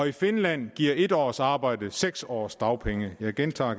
i finland giver en års arbejde seks års dagpengeret jeg gentager